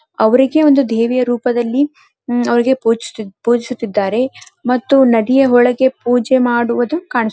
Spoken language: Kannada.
ಅವರಿಗೆ ಒಂದು ದೇವಿಯ ರೂಪದಲ್ಲಿ ಅವರಿಗೆ ಪೂಜಿಸುತ್ತಿದ್ದಾರೆ ಮತ್ತು ನದಿಯ ಒಳಗೆ ಪೂಜೆ ಮಾಡುವುದು ಕಾಣಿಸುತ್ತಿದೆ.